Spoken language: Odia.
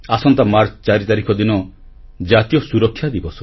ଆସନ୍ତା ମାର୍ଚ୍ଚ 4 ତାରିଖ ଦିନ ଜାତୀୟ ସୁରକ୍ଷା ଦିବସ